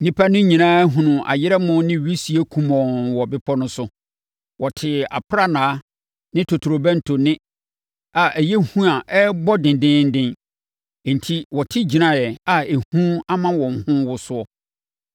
Nnipa no nyinaa hunuu ayerɛmo ne wisie kumɔnn wɔ bepɔ no so. Wɔtee aprannaa ne totorobɛnto nne a ɛyɛ hu a ɛrebɔ dendeenden. Enti, wɔte gyinaeɛ a ehu ama wɔn ho rewoso.